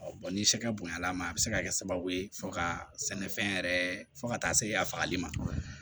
bɔn ni sɛgɛ bonyana ma a bɛ se ka kɛ sababu ye fo ka sɛnɛfɛn yɛrɛ fo ka taa se a fagali ma